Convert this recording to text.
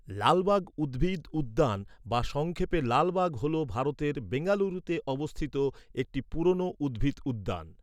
লালবাগ উদ্ভিদ উদ্যান বা সংক্ষেপে লালবাগ হল ভারতের বেঙ্গালুরুতে অবস্থিত একটি পুরনো উদ্ভিদ উদ্যান।